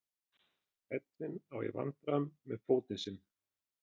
Edwin á í vandræðum með fótinn sinn.